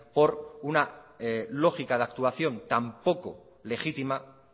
por una lógica de actuación tan poco legítima